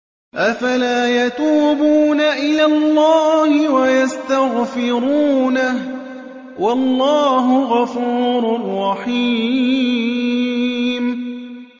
أَفَلَا يَتُوبُونَ إِلَى اللَّهِ وَيَسْتَغْفِرُونَهُ ۚ وَاللَّهُ غَفُورٌ رَّحِيمٌ